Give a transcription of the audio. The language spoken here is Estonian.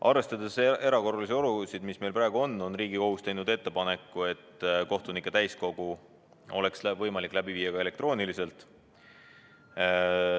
Arvestades erakorralisi olusid, mis meil praegu on, on Riigikohus teinud ettepaneku, et kohtunike täiskogu oleks võimalik läbi viia ka elektrooniliselt.